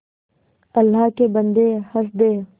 अल्लाह के बन्दे हंस दे